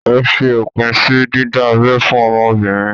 Ẹ fi òpin sí dídá abẹ́ fún ọmọbìnrin!